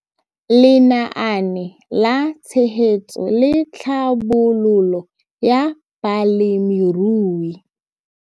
Lenaane la Tshegetso le Tlhabololo ya Balemirui.